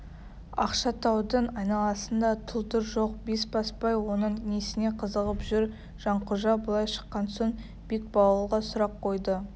ақшатаудың айналасында тұлдыр жоқ бесбасбай оның несіне қызығып жүр жанқожа былай шыққан соң бекбауылға сұрақ қойды